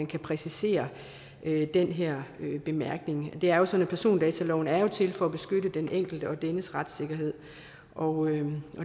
kan præcisere den her bemærkning det er jo sådan at persondataloven er til for at beskytte den enkelte og dennes retssikkerhed og